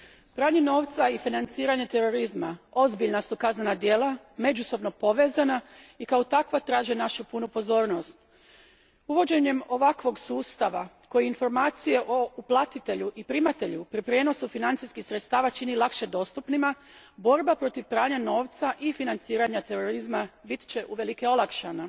Gospodine predsjedniče, pranje novca i financiranje terorizma ozbiljna su kaznena djela, međusobno povezana i kao takva traže našu punu pozornost. Uvođenjem ovakvog sustava koji informacije o platitelju i primatelju pri prijenosu financijskih sredstava čini lakše dostupnima, borba protiv pranja novca i financiranja terorizma bit će uvelike olakšana.